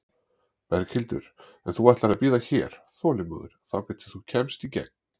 Berghildur: En þú ætlar að bíða hér, þolinmóður, þangað til þú kemst í gegn?